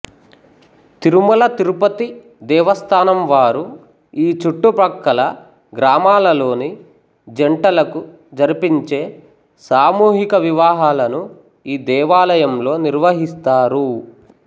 తిరుమల తిరుపతి దేవస్థానం వారు ఈ చుట్టుప్రక్కల గ్రామాలలోని జంటలకు జరిపించే సామూహిక వివాహాలను ఈ దేవాలయంలో నిర్వహిస్తారు